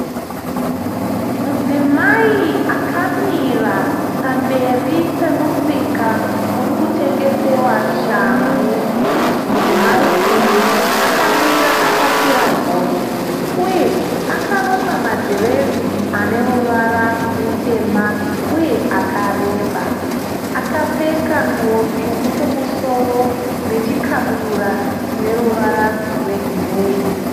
Mudzimai akamira pamberi pemusika uri tengesiwa shangu. Mudzimai uyu akamira akapira gotsi uye akarukwa madhiredzi ane ruvara rutema, uye akareba. Akapfeka nguwo tsvuku kumusoro nechikabudura chineruvara rwegireyi.